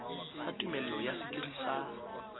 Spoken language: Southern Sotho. sa tumello ya sekiri sa